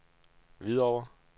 Hvidovre